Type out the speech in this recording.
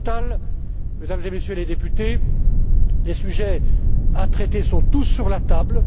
Au total, Mesdames et Messieurs les députés, les sujets à traiter sont tous sur la table.